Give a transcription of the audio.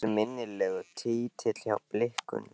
Eftirminnilegur titill hjá Blikunum.